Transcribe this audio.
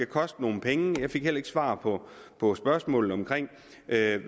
koste nogle penge jeg fik heller ikke svar på på spørgsmålet om hvad